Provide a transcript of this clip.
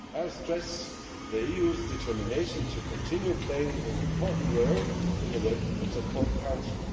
I will stress the EU's determination to continue playing an important role in the work of the Council.